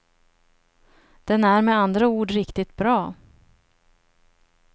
Den är med andra ord riktigt bra.